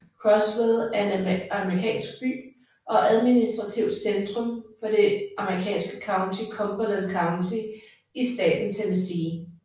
Crossville er en amerikansk by og administrativt centrum for det amerikanske county Cumberland County i staten Tennessee